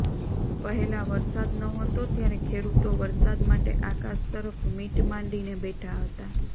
પહેલા વરસાદ ન હતો ત્યારે ખેડૂતો વરસાદ માટે આકાશ તરફ મીટ માડીને બેઠા હતા